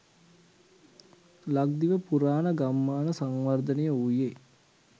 ලක්දිව පුරාණ ගම්මාන සංවර්ධනය වූයේ